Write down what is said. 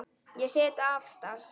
Ég sit aftast.